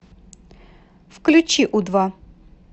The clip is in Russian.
включи у два